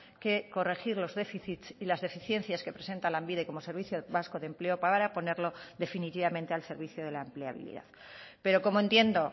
que corregir los déficits y las deficiencias que presenta lanbide como servicio vasco de empleo para ponerlo definitivamente al servicio de la empleabilidad pero como entiendo